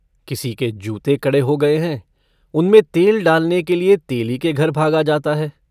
किसी के जूते कड़े हो गये हैं उनमें तेल डालने के लिए तेली के घर भागा जाता है।